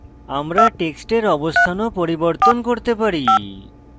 আমরা টেক্সটের অবস্থান of পরিবর্তন করতে পারি